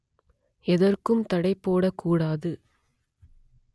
எதற்கும் தடை போடக்கூடாது